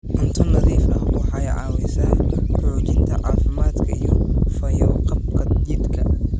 Cunto nadiif ah waxay caawisaa xoojinta caafimaadka iyo fayo-qabka jidhka.